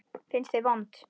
Finnst þau vond.